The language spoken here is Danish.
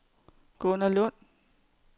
Gunner Lund